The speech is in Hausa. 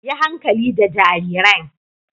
Yi hankali da jarirain.